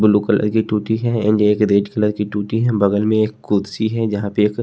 blue colour की टूटी है एंड एक रेड कलर की टूटी है बगल में एक कुर्सी है जहां पे एक--